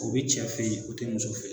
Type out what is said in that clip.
O be cɛ fe ye, o te muso fe ye.